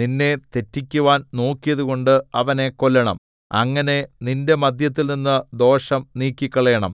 നിന്നെ തെറ്റിക്കുവാൻ നോക്കിയതുകൊണ്ട് അവനെ കൊല്ലണം അങ്ങനെ നിന്റെ മദ്ധ്യത്തിൽനിന്ന് ദോഷം നീക്കിക്കളയണം